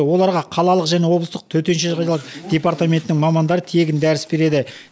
оларға қалалық және облыстық төтенше жағдайлар департаментінің мамандары тегін дәріс береді